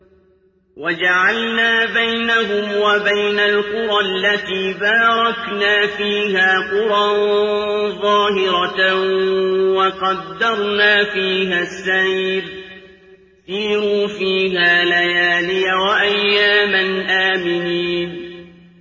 وَجَعَلْنَا بَيْنَهُمْ وَبَيْنَ الْقُرَى الَّتِي بَارَكْنَا فِيهَا قُرًى ظَاهِرَةً وَقَدَّرْنَا فِيهَا السَّيْرَ ۖ سِيرُوا فِيهَا لَيَالِيَ وَأَيَّامًا آمِنِينَ